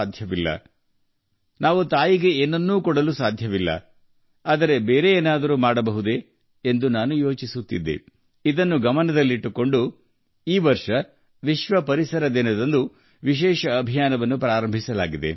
ನಾನು ಯೋಚಿಸುತ್ತಿದ್ದೆ ನಾವು ನಮ್ಮ ತಾಯಿಗೆ ಏನನ್ನೂ ಕೊಡಲು ಸಾಧ್ಯವಿಲ್ಲ ಆದರೆ ನಾವು ಬೇರೆ ಏನಾದರೂ ಮಾಡಬಹುದೇ ಈ ಚಿಂತನೆಯ ಮೂಲಕ ಈ ವರ್ಷ ವಿಶ್ವ ಪರಿಸರ ದಿನದಂದು ವಿಶೇಷ ಅಭಿಯಾನ ಹಮ್ಮಿಕೊಳ್ಳಲಾಗಿದೆ